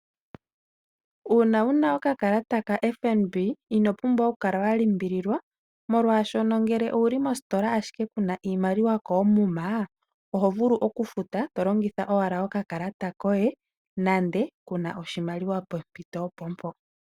Uuna wuna oka kalata kaFNB ino pumbwa oku kala wa limbililwa molwaashoka ngele owuli mostola ashike kuna iimaliwa koomuma oho vulu okufuta to longitha owala oka kalata koye nande kuna oshimaliwa pompito opo mpo.